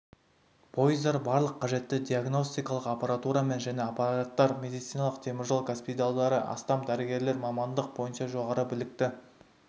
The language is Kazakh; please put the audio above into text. пойыздар барлық қажетті диагностикалық аппаратурамен және апаттар медицинасының теміржол госпитальдары астам дәрігерлік мамандық бойынша жоғары білікті